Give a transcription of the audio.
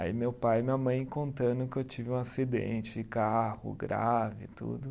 Aí meu pai e minha mãe contando que eu tive um acidente de carro grave e tudo.